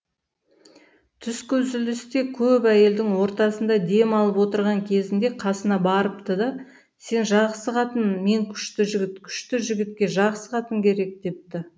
түскі үзілісте көп әйелдің ортасында дем алып отырған кезінде қасына барыпты да сен жақсы қатын мен күшті жігіт күшті жігітке жақсы қатын керек депті